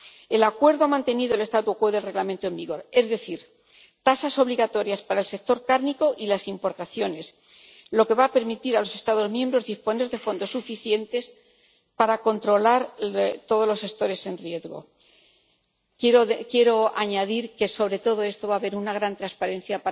El acuerdo ha mantenido el statu quo del Reglamento en vigor, es decir, tasas obligatorias para el sector cárnico y las importaciones, lo que va a permitir a los Estados miembros disponer de fondos suficientes para controlar todos los sectores en riesgo. Quiero añadir que sobre todo esto va a haber una gran transparencia